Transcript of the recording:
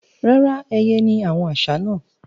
Rárá, ẹyẹ ni àwọn àṣá náà.